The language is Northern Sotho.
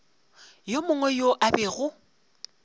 yo mongwe yo a bego